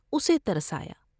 اسے ترس آیا ۔